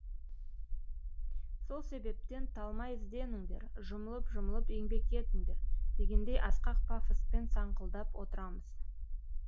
сол себептен талмай ізденіңдер жұмылып жұмылып еңбек етіңдер дегендей асқақ пафоспен саңқылдап отырамыз